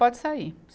Pode sair.